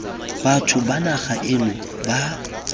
batho ba naga eno ba